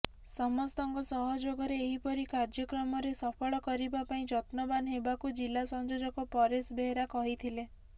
ସମସ୍ତଙ୍କ ସହଯୋଗରେ ଏହିପରି କାର୍ଯ୍ୟକ୍ରମରେ ସଫଳ କରିବା ପାଇଁ ଯତ୍ନବାନ ହେବାକୁ ଜିଲା ସଂଯୋଜକ ପରେଶ ବେହେରା କହିଥିଲେ